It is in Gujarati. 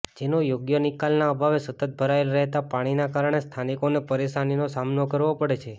જેનો યોગ્ય નિકાલના અભાવે સતત ભરાયેલા રહેતા પાણીના કારણે સ્થાનિકોને પરેશાનીનો સામનો કરવો પડેછે